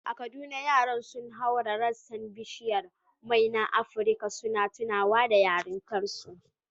A Kaduna, yaran sun haura rassan bishiyar mai na Afrika, suna tunawa da yarintarsu.